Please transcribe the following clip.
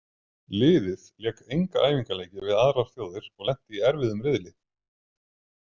Liðið lék enga æfingaleiki við aðrar þjóðir og lenti í erfiðum riðli.